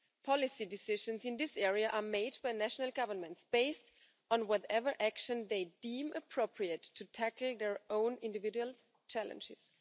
Policy decisions in this area are made by national governments based on whatever action they deem appropriate to tackle their own individual challenges.